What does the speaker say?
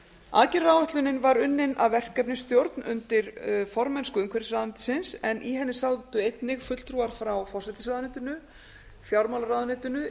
aðgerðaáætlunin var unnin af verkefnisstjórn undir formennsku umhverfisráðuneytisins en í henni sátu einnig fulltrúar frá forsætisráðuneytinu fjármálaráðuneytinu